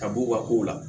Ka b'u ka kow la